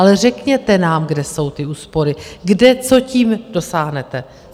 Ale řekněte nám, kde jsou ty úspory, kde, co tím dosáhnete.